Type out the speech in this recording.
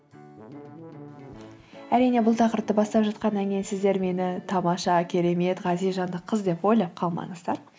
әрине бұл тақырыпты бастап жатқаннан кейін сіздер мені тамаша керемет ғазиз жанды қыз деп ойлап қалмаңыздар